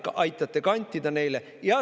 Seda te aitate kantida neile.